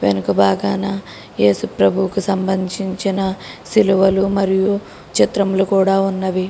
వెనుక బాగానా ఏసుప్రభు కి సంబంధించిన సిలువలు మరియు చిత్రములు కూడా ఉన్నవి.